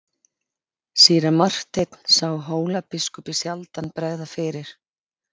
Síra Marteinn sá Hólabiskupi sjaldan bregða fyrir.